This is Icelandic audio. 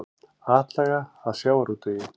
Atlaga að sjávarútvegi